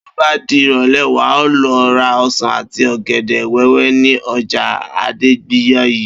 Bí ó bá di ìrò̩lé̩, wà á lo̩ ra o̩sàn àti ò̩gè̩dè̩ wé̩wé̩ ní o̩jà Adégbàyí